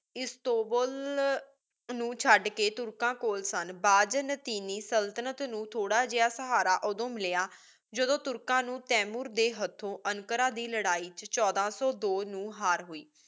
Istanbul ਨੂ ਚੜ ਕੀ ਤੁਰਕਾਂ ਕੋਲ ਸਨ ਬਾਜ਼ਾਨ੍ਤੀਨੀ ਸੁਲ੍ਤ੍ਨਤ ਨੂ ਥੋਰਾ ਜਿਯਾ ਸਹਾਰਾ ਓਦੋ ਮਿਲਯਾ ਜਿਦੋ ਤੁਰਕਾਂ ਨੂ ਤੈਮੂਰ ਦੇ ਹਥੋਂ ਅੰਕਾਰਾ ਦੇ ਲਾਰੀ ਵਿਚ ਛੋਡਾ ਸੋ ਦੋ ਨੂ ਹਰ ਹੋਏ